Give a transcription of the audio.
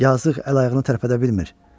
Yazıq əl-ayağını tərpədə bilmir.